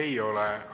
Ei ole.